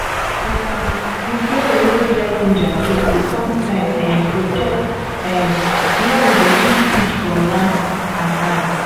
um the smell wey dry ginger get dey sometimes um protect um where we dey keep seed from rat and ant.